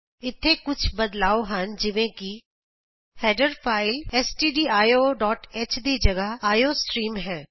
ਇਥੇ ਕੁਝ ਬਦਲਾਉ ਹਨ ਜਿਵੇਂ ਕਿ ਹੈਡਰ ਫਾਈਲ stdioਹ ਦੀ ਜਗਾਹ ਆਈਓਸਟ੍ਰੀਮ ਹੈ